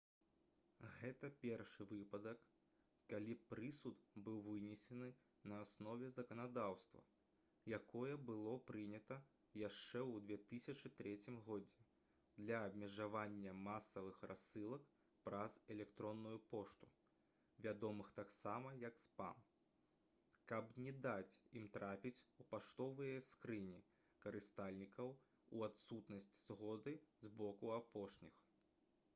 гэта першы выпадак калі прысуд быў вынесены на аснове заканадаўства якое было прынята яшчэ ў 2003 годзе для абмежавання масавых рассылак праз электронную пошту вядомых таксама як спам каб не даць ім трапіць у паштовыя скрыні карыстальнікаў у адсутнасць згоды з боку апошніх